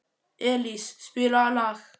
Elís, spilaðu lag.